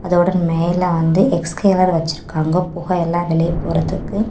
அதோட மேல வந்து எக்ஸ்சைலர் வச்சிருக்காங்க. புகை எல்லாம் வெளிய போகறதுக்கு.